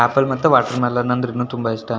Apple ಮತ್ತು watermelon ಅಂದ್ರೂನು ತುಂಬಾ ಇಷ್ಟ.